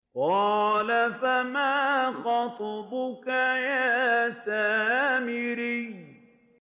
قَالَ فَمَا خَطْبُكَ يَا سَامِرِيُّ